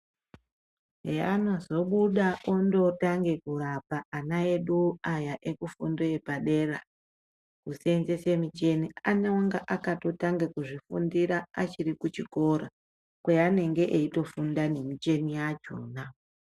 Peanozobuda otanga kurapa ana edu aya ekufundo yepadera kusenzesa muchini anenge akatanga kuzvifundira achiri kuchikora kwaanengme eitofunda nemicheno yachona.